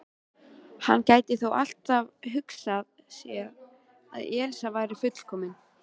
Hann gæti þó alltaf hugsað sér að Elísa væri fullkomin.